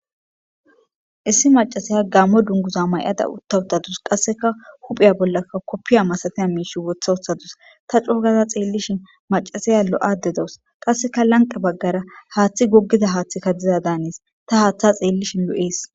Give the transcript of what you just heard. Issi macasaya gaammo dunguza mayada uutta uuttadus qasseka huuphphiya bollakka koppiya masatiya miishshii woththa woththadus ta c'oogada xeellishin macasiya lo'ade dawus qasseka lanqe baggara haaththi goggida haaththikka dizada hanees ta haaththa xeellishin lo'ees